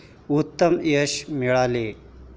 उत्तम यश मिळेल.